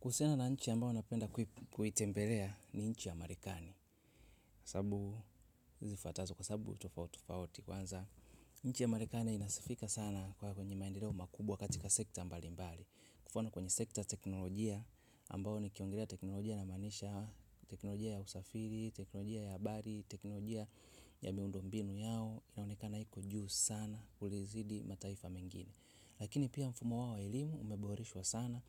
Kuhusiana na nchi ambayo napenda kuitembelea ni nchi ya marekani. Sababu, zifatazo kwa sababu, tofauti tofauti kwanza. Nchi ya marekani inasifika sana kwenye maendeleo makubwa katika sekta mbalimbali mfano kwenye sekta teknolojia ambayo ni kiongelea teknolojia na maanisha. Teknolojia ya usafiri, teknolojia ya habari, teknolojia ya miundo mbinu yao. Inaonekana iko juu sana kulizidi mataifa mengine. Lakini pia mfumo wao elimu umeboreshwa sana.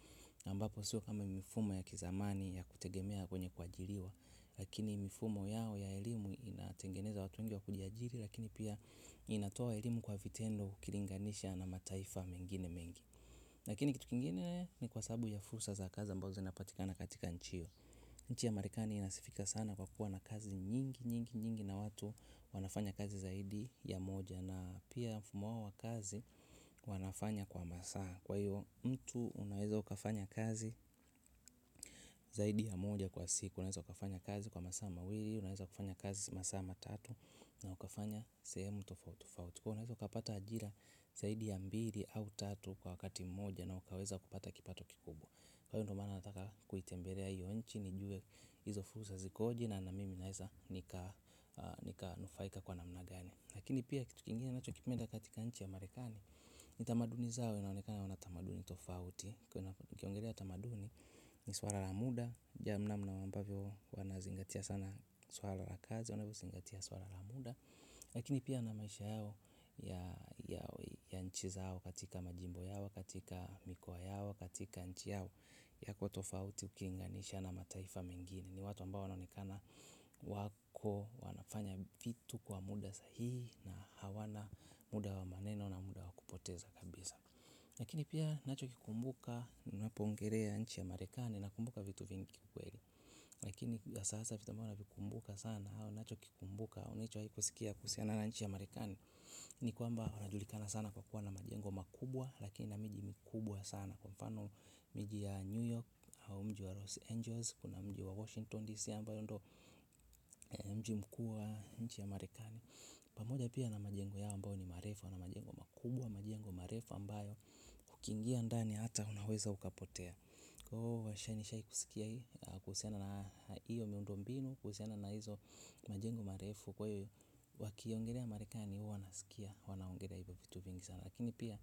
Na ambapo si kama mifumo ya kizamani ya kutegemea kwenye kuajiriwa. Lakini mifumo yao ya elimu inatengeneza watu wengi wa kujiajiri. Lakini pia inatoa elimu kwa vitendo ukilinganisha na mataifa mengine mengi. Lakini kitu kingine ni kwa sababu ya fursa za kazi zinazopatikana katika nchi hiyo. Nchi ya Marekani inasifika sana kwa kuwa na kazi nyingi nyingi nyingi, na watu wanafanya kazi zaidi ya moja. Na pia mfumo wao wa kazi wanafanya kwa masaa. Kwa hiyo mtu unaweza ukafanya kazi. Zaidi ya moja kwa siku. Unaweza ukafanya kazi kwa masaa mawili. Unaweza ukafanya kazi masaa matatu. Na ukafanya sehemu tofauti. Kwa hiyo unaweza ukapata ajira zaidi ya mbili au tatu kwa wakati mmoja, na ukaweza kupata kipato kikubwa. Kwa hiyo ndiyo maana nataka kuitembelea hiyo nchi, nijue hizo fursa zikoje, na mimi naweza nikanufaika kwa namna gani. Lakini pia kitu kingine nachokipenda katika nchi ya Marekani. Ni tamaduni zao inaonekana wana tamaduni tofauti. Ukiongelea tamaduni ni suala la muda. Jinsi wanavyozingatia sana suala la kazi, unavyozingatia suala la muda. Lakini pia na maisha yao. Ya nchi zao, katika majimbo yao, katika mikoa yao, katika nchi yao, inakuwa tofauti ukilinganisha na mataifa mengine. Ni watu ambao wanaonekana wako, wanafanya vitu kwa muda sahihi. Na hawana muda wa maneno na muda wa kupoteza kabisa. Lakini pia nachokikumbuka, nimepongeza nchi ya Marekani. Nakumbuka vitu vingi kweli. Lakini ya sasa, vitu mbalimbali vinakumbukwa sana. Nachokikumbuka, unachohitaji kusikia kuhusiana na nchi ya Marekani Ni kwamba wanajulikana sana kwa kuwa na majengo makubwa, lakini na miji mikubwa sana. Kwa mfano, miji ya New York au mji wa Los Angeles. Kuna mji wa Washington DC ambayo ndiyo mji mkuu wa nchi ya Marekani, pamoja pia na majengo yao ambayo ni marefu. Wana majengo makubwa, majengo marefu ambayo ukiingia ndani hata unaweza ukapotea. Kwa hiyo nishawahi kusikia hii, kuhusiana na hiyo miundombinu, kuhusiana na hizo majengo marefu. Kwa hiyo, wakiongelea Marekani, huwa nasikia wanaongelea vitu vingi sana. Lakini pia,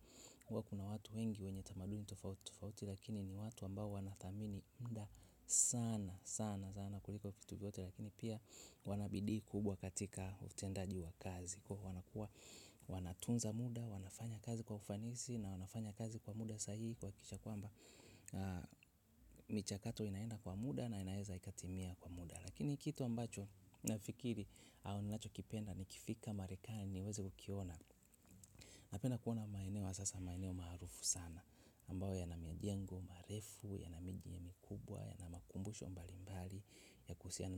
huwa kuna watu wengi wenye tamaduni tofauti tofauti, lakini ni watu ambao wanathamini muda. Sana, sana sana kuliko vitu vyote lakini pia, wana bidii kubwa katika utendaji wa kazi, kwa kuwa wanatunza muda, wanafanya kazi kwa ufanisi na wanafanya kazi kwa muda sahihi, kuhakikisha kwamba michakato inaenda kwa muda na inaweza ikatimia kwa muda, lakini kitu ambacho nafikiri au nachokipenda ni nikifika Marekani nikiweza kukiona. Napenda kuona maeneo hasa maeneo maarufu sana ambayo yana majengo marefu na miji mikubwa, yana makumbusho mbalimbali ya kuhusiana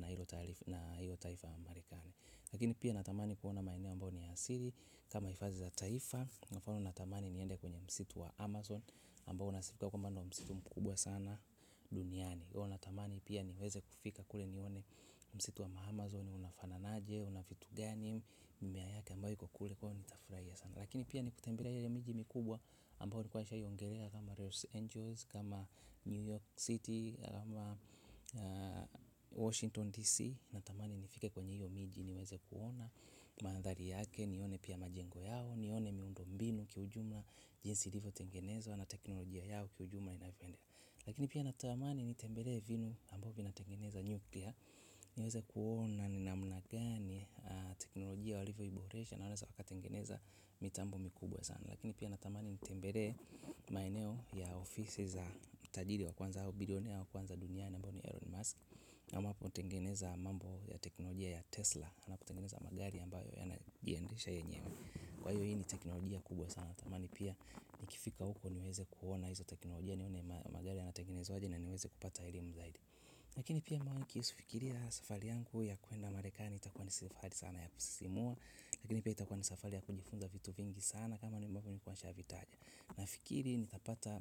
na hilo taifa la Marekani. Lakini pia natamani kuona maeneo ambayo ni ya asili, kama hifadhi za taifa. Kwa mfano, unatamani niende kwenye msitu wa Amazon, ambao unasifika kwa kuwa msitu mkubwa sana. Duniani. Natamani pia niweze kufika kule, nione msitu wa Amazon unafanana vipi, una vitu gani, mimea yake ambayo iko kule, kwa hiyo nitanifurahia sana. Lakini pia kutembelea yale miji mikubwa ambayo nilikuwa nimeshaongelea, kama Los Angeles, kama New York City, kama Washington DC. Natamani nifike kwenye hiyo miji, niweze kuona mandhari yake, nione pia majengo yao, nione miundombinu kiujumla jinsi ilivyotengenezwa, na teknolojia yao kiujumla inavyoenda. Lakini pia natamani nitembelee vinu ambavyo vinatengeneza nyuklia. Niweze kuona ni namna gani teknolojia walivyoiboresha na wanavyotengeneza mitambo mikubwa sana. Lakini pia natamani nitembelee maeneo ya ofisi za tajiri wa kwanza au billionaire wa kwanza ambaye ni wa kwanza duniani, ambaye ni Elon Musk, ambaye anatengeneza mambo ya teknolojia ya Tesla, ambaye anatengeneza magari ambayo yanajiendesha yenyewe. Kwa hiyo hii ni teknolojia kubwa sana. Natamani pia nikifika huko niweze kuona hizo teknolojia, nione magari yanatengenezwa aje na niweze kupata elimu zaidi. Lakini pia nikifikiria safari yangu ya kwenda Marekani, itakuwa ni safari ya kusisimua sana. Lakini pia itakuwa ni safari ya kujifunza vitu vingi sana, kama nilivyokuwa nimeshataja. Nafikiri nitapata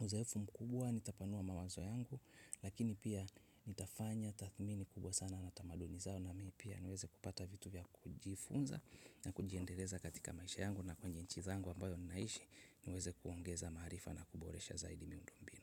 uzoefu mkubwa. Nitapanua mawazo yangu. Lakini pia nitafanya tathmini kubwa sana na tamaduni zao, na mimi pia niweze kupata vitu vya kujifunza. Na kujiendeleza katika maisha yangu na kwenye nchi yangu ambayo ninaishi, niweze kuongeza maarifa na kuboresha zaidi miundombinu.